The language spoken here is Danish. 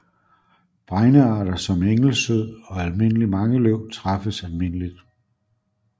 Bregnearter som engelsød og almindelig mangeløv træffes almindeligt